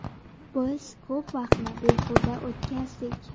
Biz ko‘p vaqtni behuda o‘tkazdik.